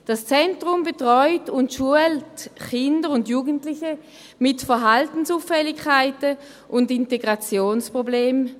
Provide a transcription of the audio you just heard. Dieses Zentrum betreut und schult Kinder und Jugendliche mit Verhaltensauffälligkeiten und Integrationsproblemen.